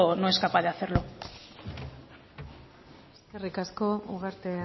no es capaz de hacerlo eskerrik asko ugarte